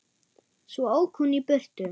Svo ók hún í burtu.